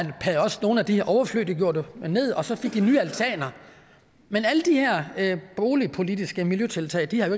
også nogle af de overflødige ned og så fik de nye altaner men alle de her boligpolitiske miljøtiltag har jo